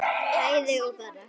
bæði og bara